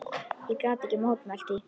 Ég gat ekki mótmælt því.